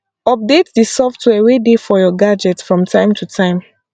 update di software wey dey for your gadget from time to time